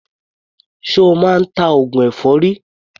Ṣo máa ń ta oògùn èfọ́rí?